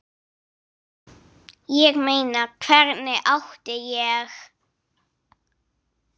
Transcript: Ég meina, hvernig átti ég?